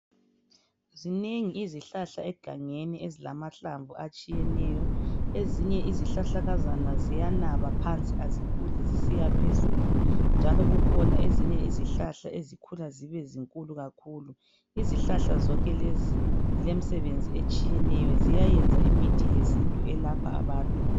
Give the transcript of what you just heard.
Zinengi izihlahla egangeni ezilahlamvu atshiyeneyo .Ezinye izihlahlakazana ziyanaba phansi azikhuli zisiya phezulu .Njalo kukhona ezinye izihlahla ezikhula zibe zinkulu kakhulu .Izihlahla zonke lezi zile misebenzi etshiyeneyo .Ziyayenza imithi yesintu elapha abantu .